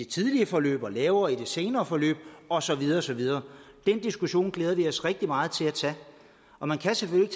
tidlige forløb og lavere i det senere forløb og så videre og så videre den diskussion glæder vi os rigtig meget til at tage man kan selvfølgelig